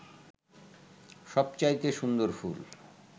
সবচাইতে সুন্দর ফুল